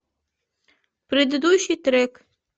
предыдущий трек